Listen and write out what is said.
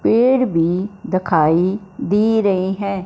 पेड़ भी दिखाई दे रहे हैं।